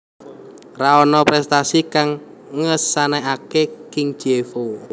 Ra ana prestasi kang ngesanake kang Chievo